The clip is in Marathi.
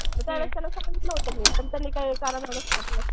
मग त्यावेळेस त्यांना सांगितलं होतं मी पण त्यांनी काय कानामागं टाकलं